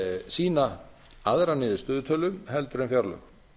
sýna aðra niðurstöðutölu heldur en fjárlög